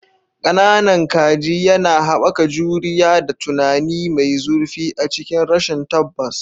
"Ƙananan Kaji" yana haɓaka juriya da tunani mai zurfi a cikin rashin tabbas.